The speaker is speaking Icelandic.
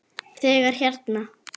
Þegar hérna.